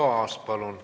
Arto Aas, palun!